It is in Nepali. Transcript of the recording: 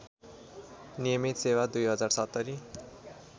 नियमित सेवा २०७०